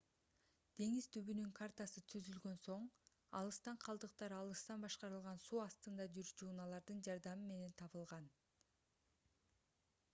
деңиз түбүнүн картасы түзүлгөн соң алыстан калдыктар алыстан башкарылган суу астында жүрүүчу унаалардын жардамы менен табылган